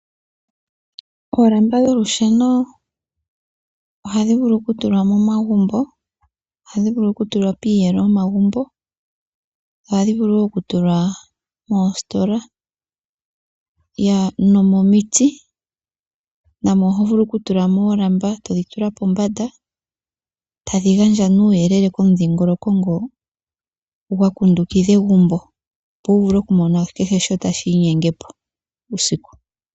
Oolamba dholusheno ohadhi vulu okutulwa momagumbo, ohadhi vulu okutulwa piiyelo yomagumbo, ohadhi vulu wo okutulwa moositola, ya nomomiti namo oho vulu okutula mo oolamba todhitula pombanda, tadhi gandja ne uuyelele komudhingoloko ngo gwakundukidha egumbo opo wuvule okumona kehe shimwe tashi inyenge po uusiku.